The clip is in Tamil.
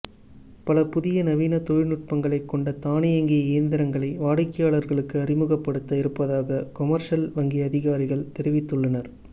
பல புதிய நவீன தொழில்நுட்பங்களைக் கொண்ட தானியங்கி இயந்திரங்களை வாடிக்கையாளர்களுக்கு அறிமுகப்படுத்த இருப்பதாக கொமர்ஷல் வங்கி அதிகாரிகள் தெரிவித்துள்ளனர்